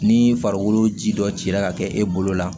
Ni farikolo ji dɔ cira ka kɛ e bolo la